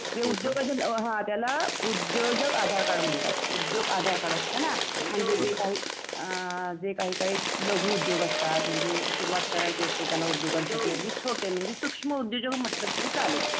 उद्योजक त्याला उद्योजक आधार कार्ड म्हणतात उद्योग आधार कार्ड असतात ना म्हणजे जे काही काही लघु उद्योग असतात म्हणजे सुरुवात करायची असते म्हणजे सुक्ष्म उद्योजक म्हंटलं तरी चालेल.